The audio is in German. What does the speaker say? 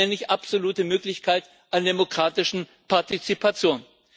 Das nenne ich absolute Möglichkeit an demokratischer Partizipation.